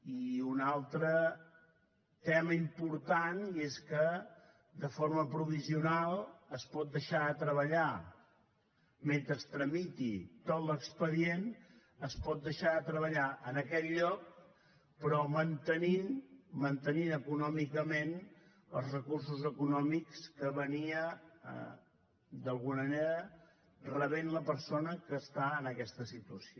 i un altre tema important i és que de forma provisional es pot deixar de treballar mentre es tramiti tot l’expedient es pot deixar de treballar en aquest lloc però mantenint econòmicament els recursos econòmics que rebia d’alguna manera la persona que està en aquesta situació